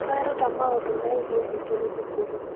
Tũreruta maũndũ megiĩ thĩ tũrĩ cukuru.